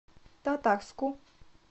татарску